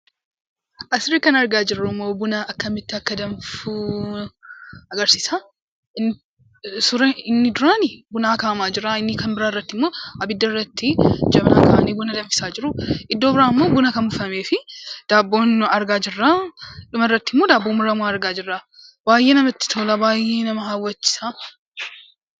Asirratti kan argaa jirrummoo buna akkamitti akka danfu agarsiisa. Suura inni duraa, bunatu akaawamaa jira. Isa lammaffaa irrattimmoo abiddarra Jabanaa kaa'anii buna danfisaa jiru, iddoo biraammoo buna kan buufamee fi daabboo argaa jirra. Dhumarratti immoo daabboo muramaa argaa jirra. Baay'ee namatti tola, baay'ee nama hawwachiisa.